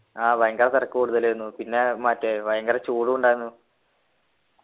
ആഹ് ഭയങ്കര തിരക്ക് കൂടുതല് ആയിരുന്നു പിന്നെ മറ്റേ ഭയങ്കര ചൂടും ഉണ്ടായിരുന്നു